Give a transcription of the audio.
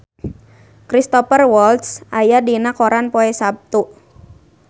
Cristhoper Waltz aya dina koran poe Saptu